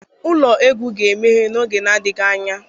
Ụlọ egwu ga-emeghe n'oge adịghị anya